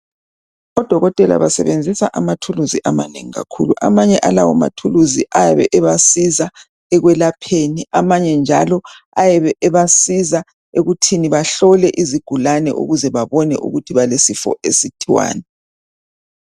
Odokotela basebenzisa amathuluzi amanengi kakhulu amanye alawo mathuluzi ayabe ebasiza ekwelapheni amanye njalo ayabe abasiza ekuthini bahlole izigulane ukuze babone ukuthi balesifo esithiwani.